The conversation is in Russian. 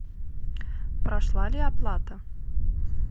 прошла ли оплата